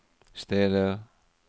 steder